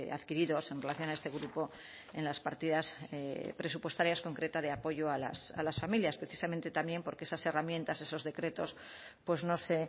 adquiridos en relación a este grupo en las partidas presupuestarias concretas de apoyo a las familias precisamente también porque esas herramientas esos decretos pues no se